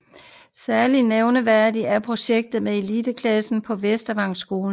Særligt nævneværdigt er projektet med eliteidrætsklasserne på Vestervangskolen